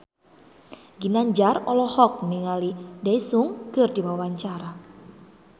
Ginanjar olohok ningali Daesung keur diwawancara